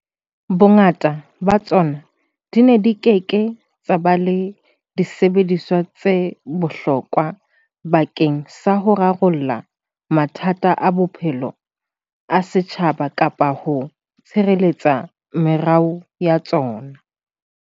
Bongata ba tsona di ne di ke ke tsa ba le disebediswa tse hlokahalang bakeng sa ho rarolla mathata a bophelo a setjhaba kapa ho tshireletsa meruo ya tsona.